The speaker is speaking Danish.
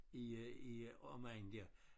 I øh i øh omegnen dér